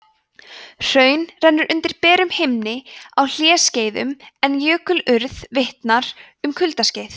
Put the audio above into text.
hraun renna undir berum himni á hlýskeiðum en jökulurð vitnar um kuldaskeið